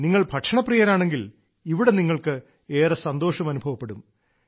നിങ്ങൾ ഭക്ഷണപ്രിയരാണെങ്കിൽ ഇവിടെ നിങ്ങൾക്ക് ഏറെ സന്തോഷം അനുഭവപ്പെടും